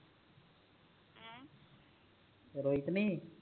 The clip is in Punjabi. ਰੋਈ ਤੇ ਨੀ